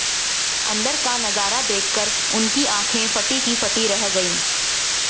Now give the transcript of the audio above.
अंदर का नजारा देखकर उनकी आंखें फटी की फटी रह गई